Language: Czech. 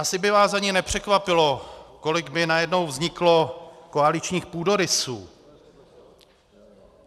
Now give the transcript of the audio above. Asi by vás ani nepřekvapilo, kolik by najednou vzniklo koaličních půdorysů.